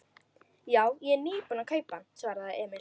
Já, ég er nýbúinn að kaupa hann, svaraði Emil.